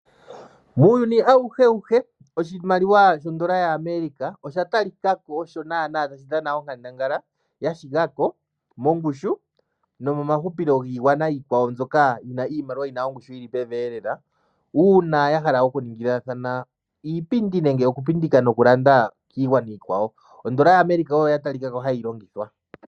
Muuyuni awuhewuhe oshimaliwa shondola yaAmerica osha talika ko osho naana tashi dhana onkandangala mongushu nomomahupilo giigwana mbyoka yina